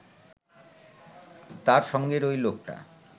তার সঙ্গের ঐ লোকটা